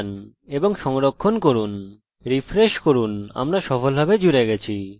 আমি এর একটি অভিলেখ রাখব এবং বলবো যে আমি সফলভাবে জুড়েছি